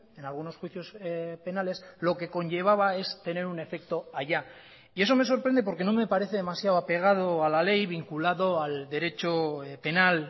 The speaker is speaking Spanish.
en algunos juicios penales lo que conllevaba es tener un efecto allá y eso me sorprende porque no me parece demasiado apegado a la ley vinculado al derecho penal